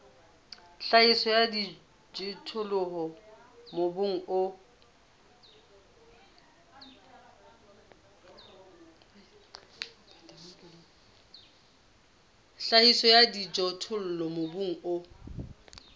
tlhahiso ya dijothollo mobung o